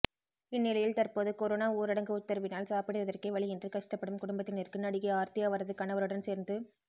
இந்நிலையில் தற்போது கொரோனா ஊரடங்கு உத்தரவினால் சாப்பிடுவதற்கே வழியின்றி கஷ்டப்படும் குடும்பத்தினருக்கு நடிகை ஆர்த்தி அவரது கவருடன் சேர்ந்து